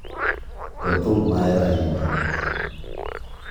go thum ma ahero ahinya